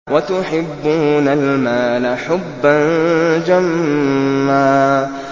وَتُحِبُّونَ الْمَالَ حُبًّا جَمًّا